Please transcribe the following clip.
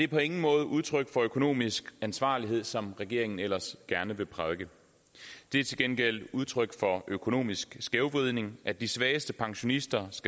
på ingen måde udtryk for økonomisk ansvarlighed som regeringen ellers gerne vil prædike det er til gengæld udtryk for økonomisk skævvridning at de svageste pensionisters